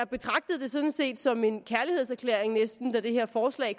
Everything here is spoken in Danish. betragtede det sådan set næsten som en kærlighedserklæring da det her forslag